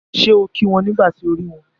Ṣé o kí wọn nígbà tí o rí wọn?